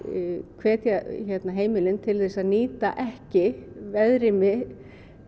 hvetja heimilin til að nýta ekki veðrými